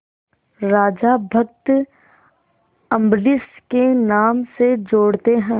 राजा भक्त अम्बरीश के नाम से जोड़ते हैं